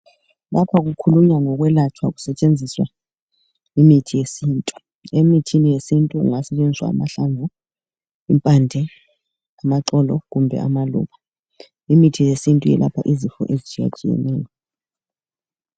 Lapha kukhulunywa ngokwelatshwa kusetshenziswa imithi yesintu emithini yesintu kungasetshenziswa amahlamvu impande amaxolo kumbe amaluba imithi yesintu yelapha izifo ezitshiyatshiyeneyo